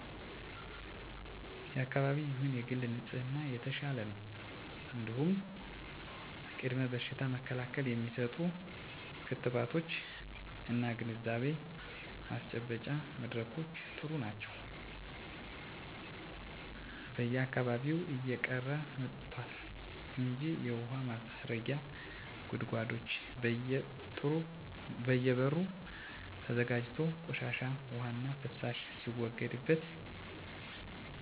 የአካባቢ ይሁን የግል ንጽህና የተሻለ ነው እንዲሁም ቅድመ በሽታ መከላከል የሚሰጡ ክትባቶች እና ግንዛቤ ማስጨበጫ መድረኮች ጥሩ ናቸው በየአካባቢው እየቀረ መጥቷል እንጂ የውሀ ማስረጊያ ጉድጓዶች በየ በሩ ተዘጋጅቶ ቆሻሻ ዉሃና ፍሳሽ ሲወገድበት የነበረበት መንገድ ጥሩ ነበር መለወጥ የምፈልገው የቆሻሻ አወጋገዳችንን ነው ምሳሌ በተደራጀ መልኩ ለማፅዳት የሚደረገው ጥረት ጥሩ ነው በተለይ በሴፍትኔት ፕሮግራም የአካባቢ ማህበረሰብ በችግኝ ተከላ በአካባቢ ንፅህና ጥሩ ስራ እየተሰራ ነው መበርታት አለበት